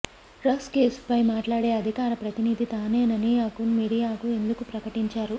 drugs case ఫై మాట్లాడే అధికార ప్రతినిధి తానేనని అకున్ మీడియా కు ఎందుకు ప్రకటించరు